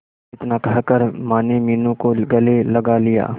इतना कहकर माने मीनू को गले लगा लिया